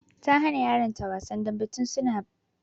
Ta hana yaran ta wasan dambe tun bara